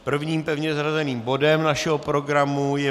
Prvním pevně zařazeným bodem našeho programu je